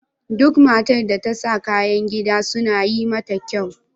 Duk matar da ta saka kayan gida suna yi mata kyau.